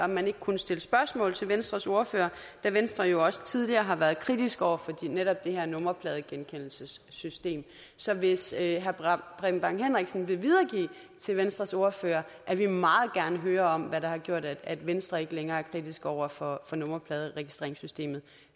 man ikke kunne stille spørgsmål til venstres ordfører da venstre jo også tidligere har været kritisk over for netop det her nummerpladegenkendelsesystem så hvis herre preben bang henriksen vil videregive til venstres ordfører at vi meget gerne hører om hvad der har gjort at venstre ikke længere er kritisk over for nummerpladeregistreringssystemet